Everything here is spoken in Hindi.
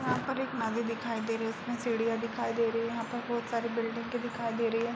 यहाँ पर एक नदी दिखाई दे रही है। उसमे सीढ़िया दिखाई दे रही हैं। यहाँ पे बोहोत सारी बिल्डिंगे दिखाई दे रही हैं।